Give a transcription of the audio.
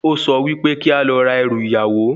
O sọ wípé kí a lọ ra ẹrù ìyàwó